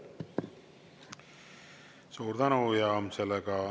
Suur tänu!